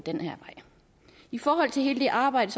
i forhold til hele det arbejde